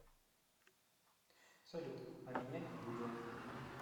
салют а меня юлия